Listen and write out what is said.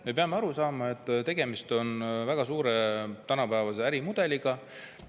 Me peame aru saama, et tegemist on väga suure tänapäevase ärimudeliga.